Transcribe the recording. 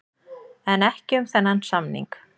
En ekki um þennan samning.